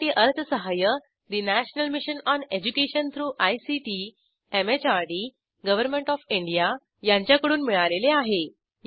यासाठी अर्थसहाय्य national mission on education through ICT MHRD government of India यांच्याकडून मिळालेले आहे